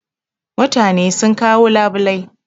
Mutane sun kawo labulai